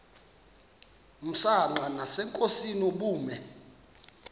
msanqa nasenkosini ubume